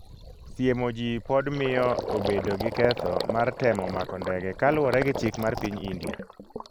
siemoji pod miyo obedo gi ketho mar temo mako ndege kaluwore gi chik mar piny India.